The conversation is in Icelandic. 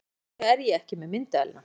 Af hverju er ég ekki með myndavélina?